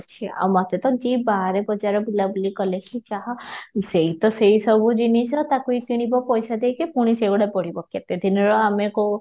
ଆଉ ମତେ ତ ଯିଏ ବଜାର ବୁଲା ବୁଲି କାଲେ କି ଯାହା ସେଇ ତ ସେଇ ସବୁ ଜିନିଷ ତାକୁ ହି କିଣିବ ପଇସା ଦେଇକି ପୁଣି ସେଇଗୁଡା କେତେ ଦିନର ଆମେ କୋଉ